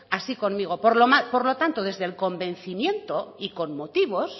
así conmigo por lo tanto desde el convencimiento y con motivos